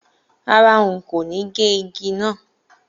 Rárá, n kò ní gé igi náà